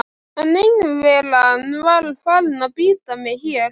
En einveran var farin að bíta mig hér.